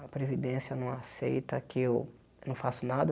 A Previdência não aceita que eu não faço nada.